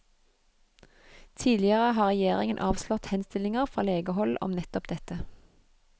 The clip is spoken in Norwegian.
Tidligere har regjeringen avslått henstillinger fra legehold om nettopp dette.